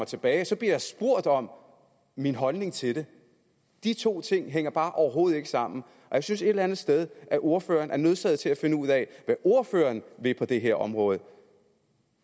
tilbage bliver jeg spurgt om min holdning til det de to ting hænger bare overhovedet ikke sammen og jeg synes et eller andet sted at ordføreren er nødsaget til at finde ud af hvad ordføreren vil på det her område for